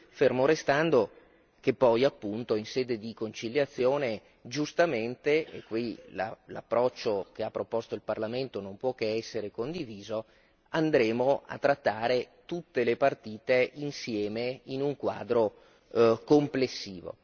fermo restando che poi appunto in sede di conciliazione giustamente e qui l'approccio che ha proposto il Parlamento non può che essere condiviso andremo a trattare tutte le partite insieme in un quadro complessivo.